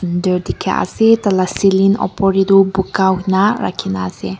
etu dekhi ase ceiling opor te tu puka jisna rakhi na ase.